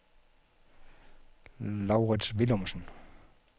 Laurits Willumsen